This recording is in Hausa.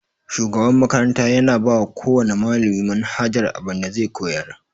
Shugaban makarata yana bawa kowana malami manhajar abin da zai koyar.